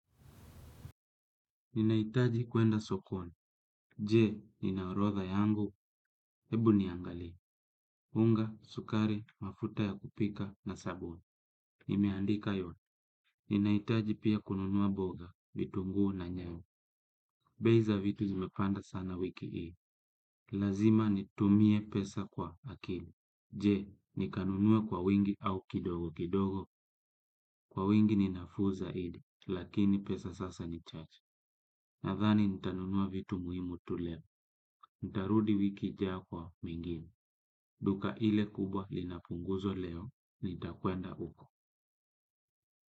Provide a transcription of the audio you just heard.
Ninahitaji kwenda sokoni. Je, nina orodha yangu? Ebu niangalie. Unga, sukari, mafuta ya kupika na sabuni. Nimeandika yote. Ninahitaji pia kununua mboga, vitunguu na nyanya. Bei za vitu zimepanda sana wiki hii. Lazima nitumie pesa kwa akili. Je, nikanunue kwa wingi au kidogo kidogo? Kwa wingi ni nafuu zaidi. Lakini pesa sasa ni chache. Nadhani nitanunua vitu muhimu tu leo, nitarudi wiki ijayo kwa vingine, duka ile kubwa lina punguzo leo, nitakwenda huko.